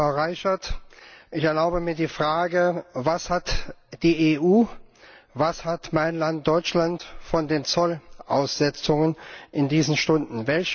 Frau Reicherts, ich erlaube mir die Frage, was hat die EU, was hat mein Land Deutschland von den Zollaussetzungen in diesen Stunden?